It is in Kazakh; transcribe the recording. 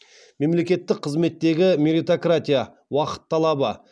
мемлекеттік қызметтегі меритократия уақыт талабы